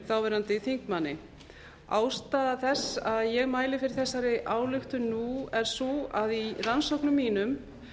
þáverandi þingmanni ástæða þess að ég mæli fyrir þessari ályktun nú er sú að í rannsóknum mínum